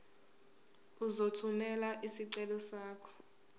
uzothumela isicelo sakho